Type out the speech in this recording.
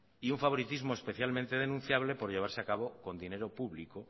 y un favoritismo especialmente denunciable por llevarse a cabo con dinero público